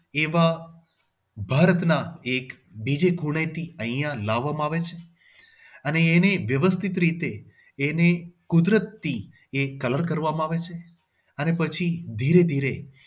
એવા ભારતના એક બીજે ખૂણેથી અહિયાં લાવવામાં આવે છે અને એને વ્યવસ્થિત રીતે કુદરતી એક colour કરવામાં આવે છે અને પછી ધીરે ધીરે